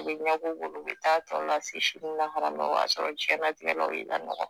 U bɛ bolo u bɛ taa tɔ lase sini lahara ma o bɛ t'a sɔrɔ diɲɛtigɛ la u y'i lanɔgɔ